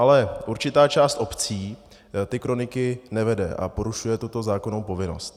Ale určitá část obcí ty kroniky nevede a porušuje tuto zákonnou povinnost.